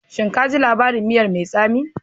Shin ka ji labarin miya mai tsami?